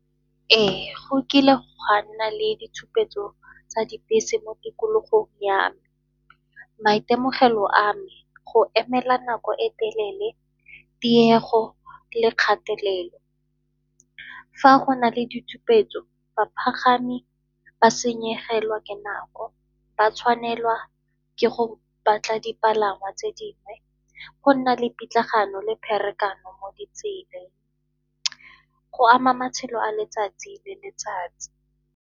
Ee, go kile gwa nna le ditshupetso tsa dibese mo tikologong ya me. Maitemogelo a me, go emela nako e telele, tiego le kgatelelo. Fa go na le ditshupetso bapagami ba senyegelwa ke nako, ba tshwanelwa ke go batla dipalangwa tse dingwe, go nna le pitlagano le pharakano mo ditseleng, go ama matshelo a letsatsi le letsatsi.